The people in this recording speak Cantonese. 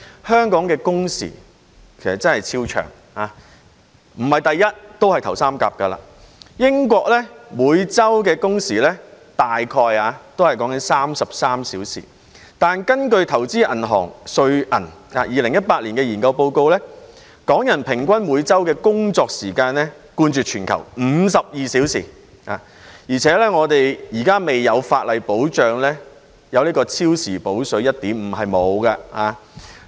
香港工時即使不是第一位也屬首三甲，英國每周工時約33小時，但根據投資銀行瑞銀在2018年的研究報告，港人每周的平均工作時間冠絕全球，是52小時，而且現時未有法例保障超時工作有 1.5 倍"補水"。